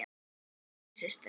Ellý systir.